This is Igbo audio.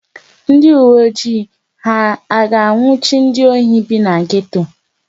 Ndị uwe ojii ha a ga-anwụchi ndị ohi bi na geto?